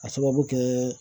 Ka sababu kɛ